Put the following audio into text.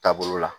Taabolo la